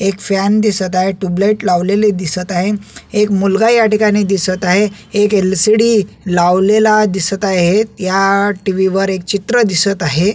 Fan दिसत आहे tubelight लावलेली दिसत आहे एक मुलगा या ठिकाणी दिसत आहे एक एलसीडी लावलेला दिसत आहेत या टीव्ही वर एक चित्र दिसत आहे.